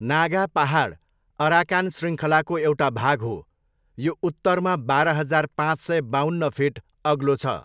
नागा पाहाड अराकान शृङ्खलाको एउटा भाग हो, यो उत्तरमा बाह्र हजार पाँच सय बाउन्न फिट अग्लो छ।